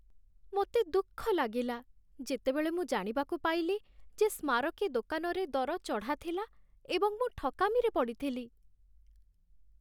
ମୋତେ ଦୁଃଖ ଲାଗିଲା ଯେତେବେଳେ ମୁଁ ଜାଣିବାକୁ ପାଇଲି ଯେ ସ୍ମାରକୀ ଦୋକାନରେ ଦର ଚଢ଼ା ଥିଲା ଏବଂ ମୁଁ ଠକାମିରେ ପଡ଼ିଥିଲି।